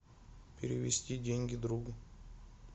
перевести деньги другу